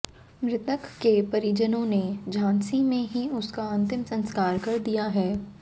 मृतक के परिजनों ने झांसी में ही उसका अंतिम संस्कार कर दिया है